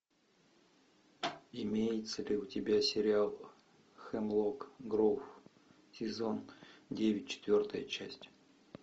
имеется ли у тебя сериал хемлок гроув сезон девять четвертая часть